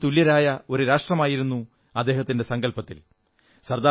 എല്ലാവരും തുല്യരായ ഒരു രാഷ്ട്രമായിരുന്നു അദ്ദേഹത്തിന്റെ സങ്കല്പത്തിൽ